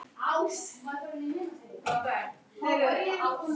Og á vissan hátt samgleðst ég henni.